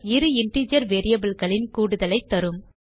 இரு இன்டிஜர் variableகளின் கூடுதலைத் தரும்